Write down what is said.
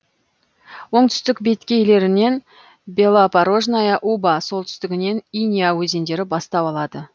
оңтүстік беткейлерінен белопорожная уба солтүстігінен иня өзендері бастау алады